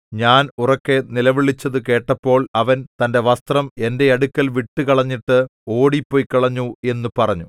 ഞാൻ ഉറക്കെ നിലവിളിച്ചതു കേട്ടപ്പോൾ അവൻ തന്റെ വസ്ത്രം എന്റെ അടുക്കൽ വിട്ടു കളഞ്ഞിട്ട് ഓടി പൊയ്ക്കളഞ്ഞു എന്നു പറഞ്ഞു